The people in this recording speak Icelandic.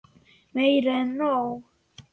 Meira en nóg.